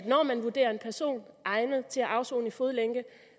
når man vurderer en person egnet til at afsone i fodlænke